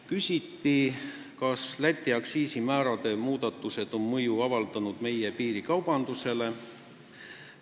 Küsiti, kas Läti aktsiisimäärade muudatused on avaldanud mõju meie piirikaubandusele.